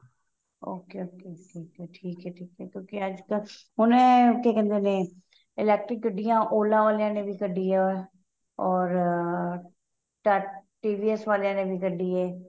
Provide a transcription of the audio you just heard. okay okay ਠੀਕ ਏ ਠੀਕ ਏ ਕਿਉਂਕਿ ਹੁਣ ਏਹ ਕੀ ਕਹਿੰਦੇ ਨੇ electric ਗੱਡੀਆਂ Ola ਵਾਲਿਆਂ ਨੇ ਕੱਢੀ ਏ ਔਰ ਅਹ TV S ਵਾਲਿਆਂ ਨੇ ਕੱਢੀ ਏ